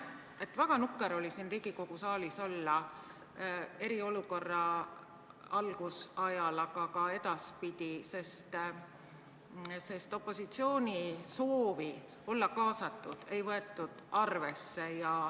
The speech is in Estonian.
Teiseks, väga nukker oli siin Riigikogu saalis olla eriolukorra algusajal, aga ka hiljem, sest opositsiooni soovi olla kaasatud ei võetud arvesse.